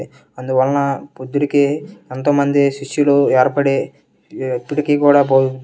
అందువల్ల బుద్దుడికి అంతమంది శిష్యులు ఏర్పడి తుర్కీ ఇప్పటికీ బోధిస్తు.